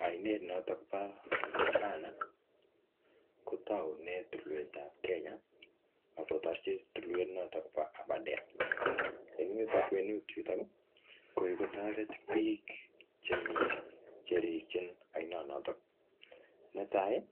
Ainet notok po Tana, kotaune tulwet ap Kenya, akotarchi tulwet notok po Aberdare. Eng yutok, kwenut yutok, ko kikotoret biik chemii cherikchin ainot notok. Ne tai,